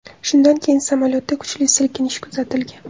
Shundan keyin samolyotda kuchli silkinish kuzatilgan.